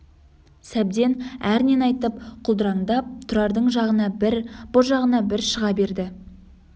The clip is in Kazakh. сәбден әрнені айтып құлдыраңдап тұрардың жағына бір бұ жағына бір шыға берді